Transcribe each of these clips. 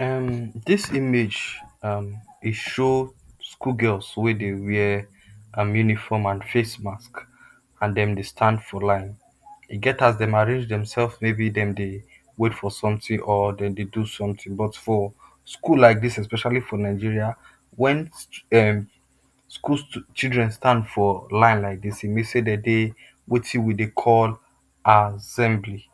um this image um e show school girls wey dey wear uniform and face mask and dem dey stand for line. E get as dem arrange demself may be dem dey wait for something or dem dey do something but for school like dis especially for Nigeria when um school children stand for line like this e mean sey dem dey wetin we dey call assembly.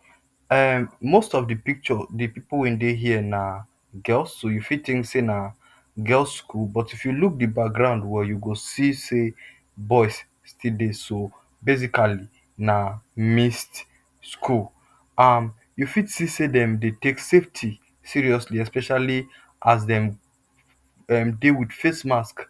um Most of the picture the pipu wey dey here na girls so ou fit think say na girls school, if you look the background well you go see sey boys still dey so, basically, na mixed school. um And you fit see sey dem dey take safety seriously especially as dem um dey with face mask.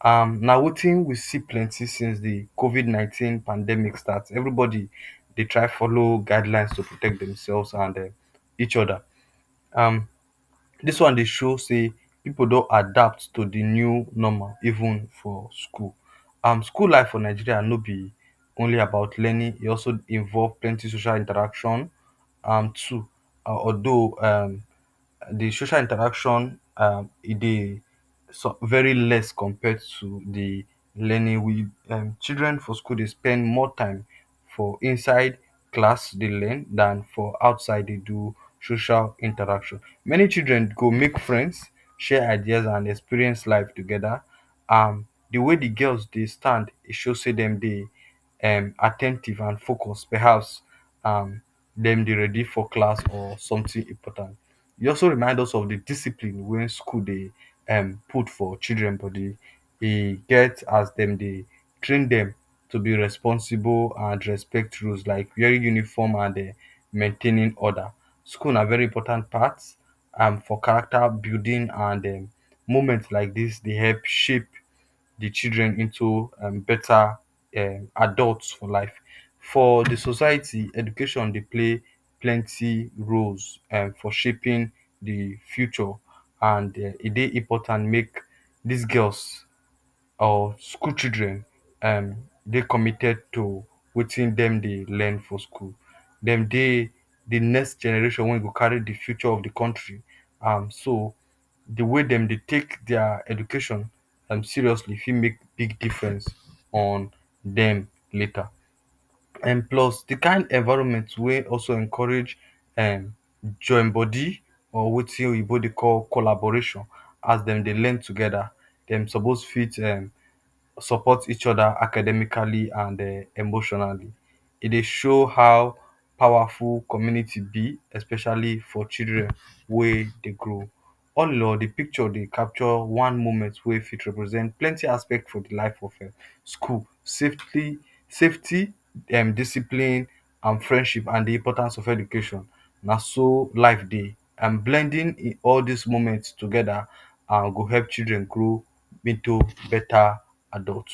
um Na wetin we see plenty since the COVID 19 pandemic start, every body dey try to folow guideline to protect demself and um each other. um This one dey show sey pipu don adapt to the new normal even for school. um School life for Nigeria no be only about learning, e also involve plenty social interaction um too. Although, um the social interaction[um] dey very less compare to the learning. um Children for school dey spend more time for inside class dey learn than for outside dey do social interaction. Many children go make friends, share idea and experience life together. um The wey the girl stand show sey dem dey um at ten tive and focus, perhaps um dem dey ready for class or something important. E also remind us of discipline wey school dey um put for children body, e get as dem dey train dem to be responsible and respectful like wear uniform and um maintaining order. School na very important part for character building and um moment like this dey help shape the children um into better um adult for life. For the society, education dey play plenty roles for shaping um for shaping the future and e dey important make this girls, um school children um dey commited to wetin dem dey learn for school. Dem dey the next generation wey go carry the future of the country and so the way dem dey take dia education um seriously fit make difference on dem later. um And plus the kind environment wey also encourage um join body or wetin oyibo dey call collaboration as denm dey learn together dem suppose fit support each other academically and um emotionally. E dye show how powerful community be especially for children wey dey grow…….? All in all the picture dey capture one moment wey fit represent plenty aspect for the life um of school. Safety safety,[um] discipline, friendship and the importance of education na so life dey,[um] blending in all this moment together go help children grow into better adult.